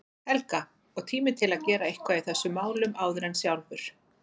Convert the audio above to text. Helga, og tími til að gera eitthvað í þessum málum áður en sjálfur